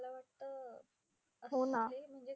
हो ना!